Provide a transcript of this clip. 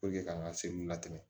k'an ka se nin latigɛ